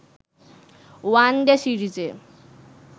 one day সিরিজে